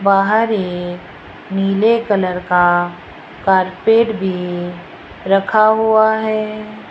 बाहर एक नीले कलर का कारपेट भी रखा हुआ है।